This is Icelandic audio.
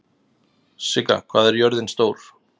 Sigga, hvað er jörðin stór?